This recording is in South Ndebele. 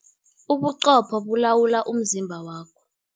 Ubuqopho bulawula umzimba wakho.